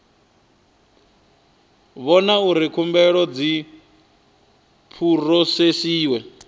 vhona uri khumbelo dzi phurosesiwa